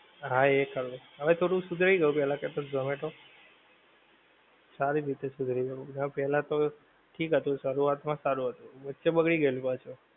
હા એક કરવો હવે થોડું શુધરી ગયું પેહલા કરતા તો zomato સારી રીતે શુધરી ગયું ના તો પહેલા તો ઠીક હતું શરૂવાત માં સારું હતું વચ્ચે બગડી ગયેલું પાછો